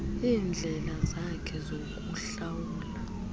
iindlela zakhe zokuhlawula